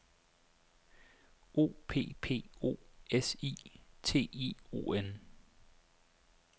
O P P O S I T I O N